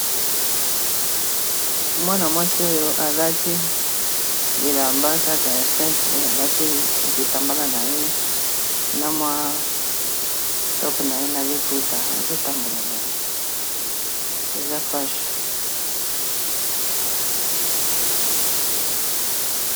Mwana mwasi oyo alati bilamba kaka ya simple alati litambala na ye na mwa tope na ye na liputa azotambola na ye eza fashe.